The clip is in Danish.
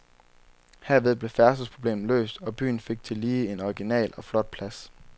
Herved blev færdselsproblemet løst, og byen fik tillige en original og flot plads.